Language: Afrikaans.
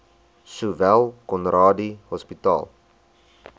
sowel conradie hospitaal